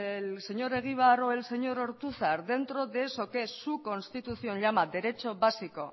el señor egibar o el señor ortuzar dentro de eso que es su constitución llama derecho básico